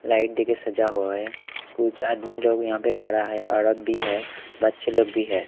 Light देके सजा हुआ है कुछ आदमी लोग यहां पे खड़ा है औरत भी है बच्चे लोग भी है।